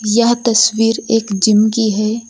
यह तस्वीर एक जिम की है।